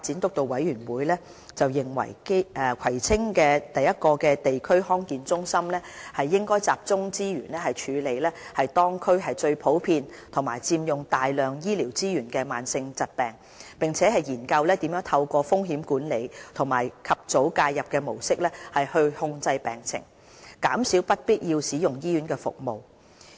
督導委員會認為，葵青區的第一個地區康健中心應集中資源處理當區最普遍及佔用大量醫療資源的慢性疾病，並研究如何透過風險管理和及早介入的模式控制病情，減少不必要使用醫院服務的情況。